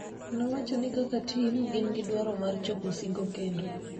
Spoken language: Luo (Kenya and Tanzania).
nowachoni kaka tim gin gidwaro mar chopo singo kendo